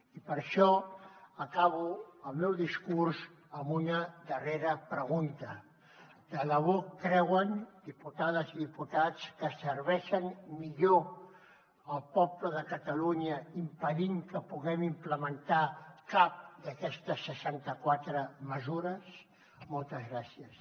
i per això acabo el meu discurs amb una darrera pregunta de debò creuen diputades i diputats que serveixen millor el poble de catalunya impedint que puguem implementar cap d’aquestes seixanta quatre mesures moltes gràcies